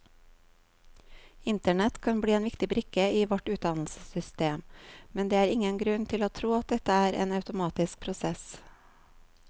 Internett kan bli en viktig brikke i vårt utdannelsessystem, men det er ingen grunn til å tro at dette er en automatisk prosess.